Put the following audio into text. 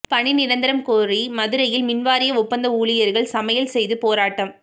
பணி நிரந்தரம் கோரி மதுரையில் மின்வாரிய ஒப்பந்த ஊழியா்கள் சமையல் செய்து போராட்டம்